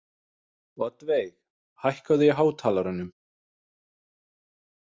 Oddveig, hækkaðu í hátalaranum.